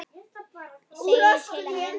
segir til að mynda þetta